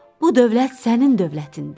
Bu dövlət sənin dövlətindir.